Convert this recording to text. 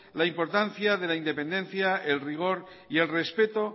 la importancia de la independencia el rigor y el respeto